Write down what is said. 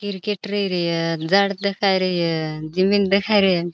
किरकेट रई रया झाड़ दखाई रया जीमिन दखाई रया.